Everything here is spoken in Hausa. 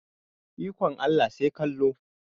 Ikon Allah sai kallo.